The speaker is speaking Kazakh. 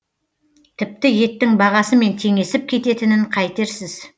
тіпті еттің бағасымен теңесіп кететінін қайтерсіз